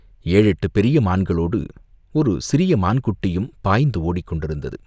ஏழெட்டுப் பெரிய மான்களோடு ஒரு சிறிய மான் குட்டியும் பாய்ந்து ஓடிக்கொண்டிருந்தது.